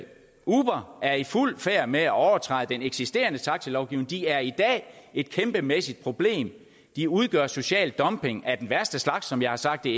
uber er i fuld færd med at overtræde den eksisterende taxilovgivning de er i dag et kæmpemæssigt problem de udgør social dumping af den værste slags som jeg har sagt er